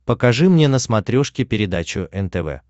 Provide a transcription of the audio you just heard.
покажи мне на смотрешке передачу нтв